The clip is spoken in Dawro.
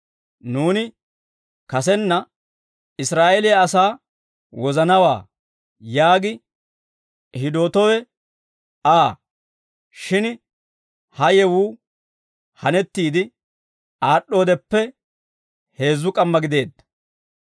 Nuuni kasenna, ‹Israa'eeliyaa asaa wozanawaa› yaagi hidootowe Aa; shin ha yewuu hanettiide aad'd'oodeppe heezzu k'amma gideedda.